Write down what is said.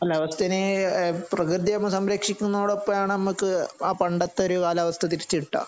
അല്ല അവസ്ഥ ഇനിയും പ്രകൃതിയെ സംരക്ഷിക്കുന്നതോടൊപ്പം ആണ്. ആ പണ്ടത്തെഒരു കാലാവസ്ഥ തിരിച്ചു കിട്ടുക.